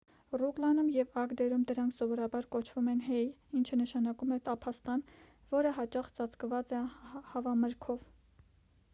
ռուգլանում և ագդերում դրանք սովորաբար կոչվում են հեյ ինչը նշանակում է տափաստան որը հաճախ ծածկված է հավամրգով